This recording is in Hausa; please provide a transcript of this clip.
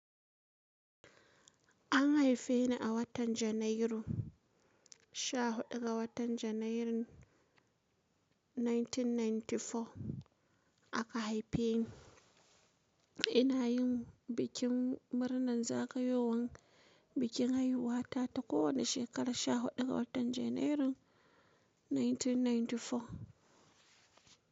An haife ni a watan Janairu, 14 ga watan Janairun 1994 aka haife ni. Ina yin bikin murnar zagayowan bikin haihuwa ta ta kowane shekara 14 watan Janairun 1994.